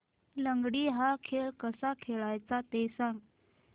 लंगडी हा खेळ कसा खेळाचा ते सांग